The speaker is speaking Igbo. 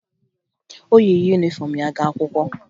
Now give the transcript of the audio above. O yi yunifọmụ ya gaa akwụkwọ